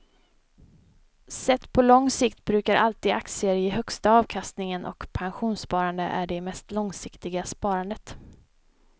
Sett på lång sikt brukar alltid aktier ge högsta avkastningen och pensionssparande är det mest långsiktiga sparandet.